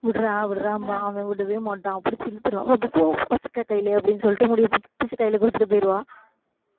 விட்றா விட்றாம்மா அவன் விடவே மாட்டான் புடிச்சு இழுத்திருவான் கையில அப்படின்னு சொல்லிட்டு முடியை பிடிச்சு கையில கொடுத்துட்டு போயிருவா